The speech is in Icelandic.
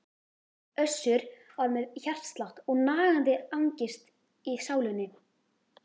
Össur var með hjartslátt og nagandi angist í sálinni.